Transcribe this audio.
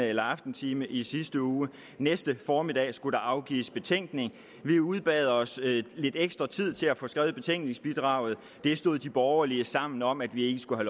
eller aftentime i sidste uge og næste formiddag skulle der afgives betænkning vi udbad os lidt ekstra tid til at få skrevet betænkningsbidraget det stod de borgerlige sammen om at vi ikke skulle